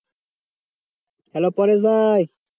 Hello Paresh ভাই